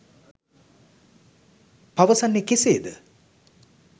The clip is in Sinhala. පවසන්නේ කෙසේ ද?